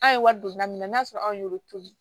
An ye wari don min na n'a sɔrɔ anw y'olu to ye